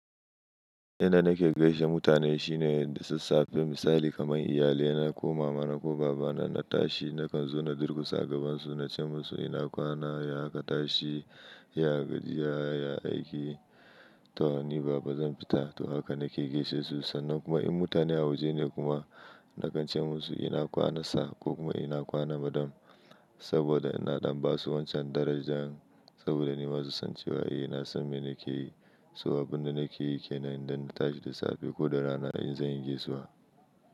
Yanda nake gaishe mutane shine da sassafe misali kaman iyalina ko mama na ko baba na na tashi nakan zo na durkusa a gaban su na ce musu ina kwana ya aka tashi ya gajiya ya aiki to ni baba zan fita to haka nake gaishe su sannan kuma in mutane a waje ne kuma nakan ce musu ina kwana sir ko kuma ina kwana madam saboda ina ɗan basu wancan darajan saboda ni masu san cewa eh na san me nake yi so abun da nake yi kenan dan na tashi da safe ko da rana in zan yi gaisuwa.